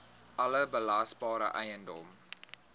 alle belasbare eiendom